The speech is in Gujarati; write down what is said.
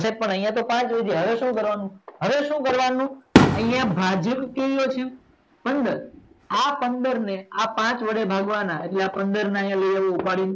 જાય પણ આય તો પાંચ વધ્યા હવે સુ કરવાનું હવે સુ કરવાનું આય ભાગીને કેટલું થયું પંદર હવે આ પંદર ને પાંચ વડે ભાગવાનું એટલે આ પંદર ને ઉપાડીને